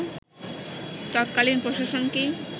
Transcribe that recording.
তত্কালীন প্রশাসনকেই